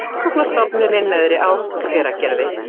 Rannsóknastofnunin Neðri Ás, Hveragerði.